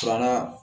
Filanan